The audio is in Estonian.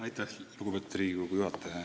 Aitäh, lugupeetud Riigikogu juhataja!